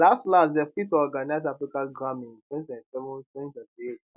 las las dey fit to organize africa grammy in 20272028